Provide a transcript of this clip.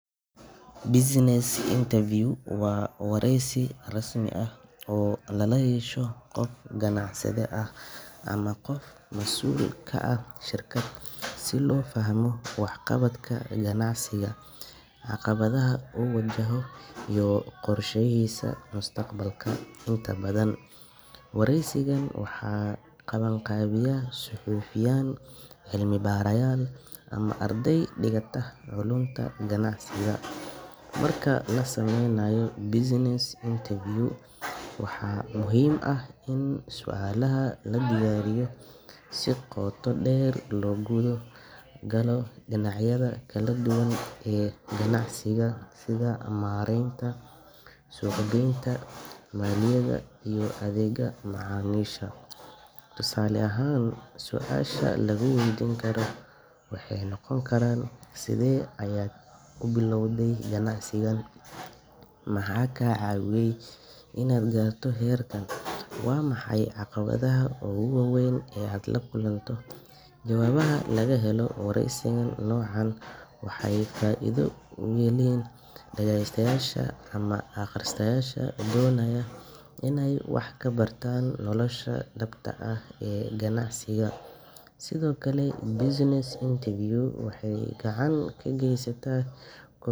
Business interview waa wareysi rasmi ah oo lala yeesho qof ganacsade ah ama qof mas’uul ka ah shirkad si loo fahmo waxqabadka ganacsiga, caqabadaha uu wajahayo, iyo qorshayaashiisa mustaqbalka. Inta badan, wareysigan waxaa qabanqaabiya suxufiyiin, cilmi-baarayaal, ama arday dhigata culuunta ganacsiga. Marka la sameynayo business interview, waxaa muhiim ah in su’aalaha la diyaariyo si qoto dheer loogu gudo galo dhinacyada kala duwan ee ganacsiga sida maaraynta, suuq-geynta, maaliyadda, iyo adeegga macaamiisha. Tusaale ahaan, su’aalaha laga weydiin karo waxay noqon karaan: Sidee ayaad u bilowday ganacsigaaga? Maxaa kaa caawiyay inaad gaarto heerkan? Waa maxay caqabadaha ugu waaweyn ee aad la kulanto? Jawaabaha laga helo wareysiga noocan ah waxay faa’iido u yihiin dhagaystayaasha ama akhristayaasha doonaya inay wax ka bartaan nolosha dhabta ah ee ganacsiga. Sidoo kale, business interview waxay gacan ka geysataa ko.